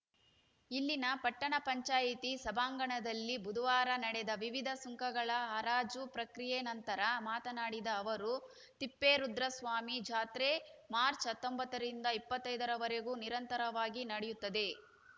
ಇಲ್ಲಿನ ಪಟ್ಟಣ ಪಂಚಾಯತಿ ಸಭಾಂಗಣದಲ್ಲಿ ಬುಧವಾರ ನಡೆದ ವಿವಿಧ ಸುಂಕಗಳ ಹರಾಜು ಪ್ರಕ್ರಿಯ ನಂತರ ಮಾತನಾಡಿದ ಅವರು ತಿಪ್ಪೇರುದ್ರಸ್ವಾಮಿ ಜಾತ್ರೆ ಮಾರ್ಚ್ ಹತ್ತೊಂಬತ್ತರಿಂದ ಇಪ್ಪತ್ತೈದರವರೆಗೂ ನಿರಂತರವಾಗಿ ನಡೆಯುತ್ತದೆ